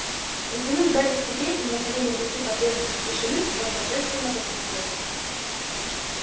притянув гарри к себе и мановением руки потребовав тишины он торжественно возвестил